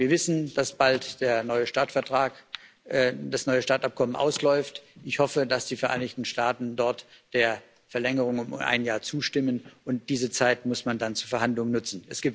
Wir wissen, dass bald das neue START Abkommen ausläuft, ich hoffe, dass die Vereinigten Staaten dort der Verlängerung um ein Jahr zustimmen, und diese Zeit muss man dann zu Verhandlungen nutzen.